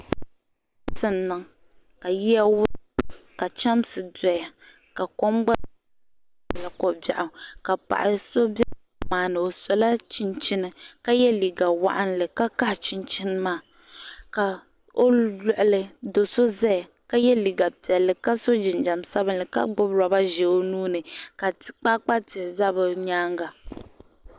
saritɛ niŋ ka yiya wurim ka, hɛmiai doya ka kom gba nyɛla ko bɛɣigu ka so bɛ kom maa o sola chɛnichɛni ka yɛ liga waɣili ka l kahi chɛnichɛni maa ka loɣoli ka chɛchi zaya ka yɛ liga piɛli ka so jinjam sabinli ka gbabi roba ʒɛ o nuuni la kpakpa tihi za bɛ nyɛŋa